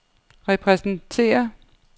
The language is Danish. repræsenterer